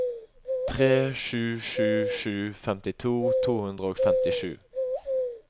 tre sju sju sju femtito to hundre og femtisju